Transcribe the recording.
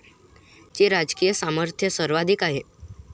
चे राजकीय सामर्थ्य सर्वाधिक आहे.